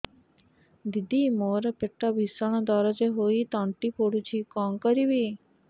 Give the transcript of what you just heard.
ଦିଦି ମୋର ପେଟ ଭୀଷଣ ଦରଜ ହୋଇ ତଣ୍ଟି ପୋଡୁଛି କଣ କରିବି